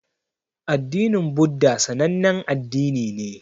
Addinin buddha sanannen addini ne